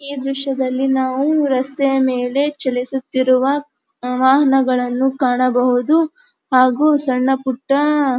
ಈ ದೃಶ್ಯದಲ್ಲಿ ನಾವು ರಸ್ತೆಯಮೇಲೆ ಚಲಿಸುತ್ತಿರುವ ವಾಹನಗಳನ್ನು ಕಾಣಬಹುದು ಹಾಗು ಸಣ್ಣಪುಟ್ಟ --